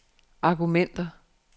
argumenter